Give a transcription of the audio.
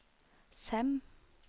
Sem